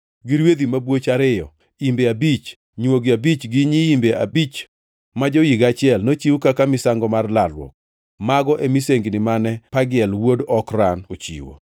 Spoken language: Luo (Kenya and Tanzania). gi rwedhi mabwoch ariyo, imbe abich, nywogi abich gi nyiimbe abich ma jo-higa achiel, nochiw kaka misango mar lalruok. Mago e misengini mane Pagiel wuod Okran ochiwo.